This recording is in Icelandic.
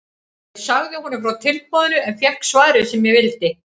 Ég sagði honum frá tilboðinu og fékk svarið sem ég vildi.